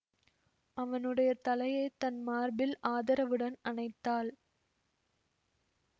அவனுடைய தலையை தன் மார்பில் ஆதரவுடன் அணைத்தாள்